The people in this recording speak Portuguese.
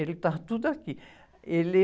Ele, está tudo aqui. Ele...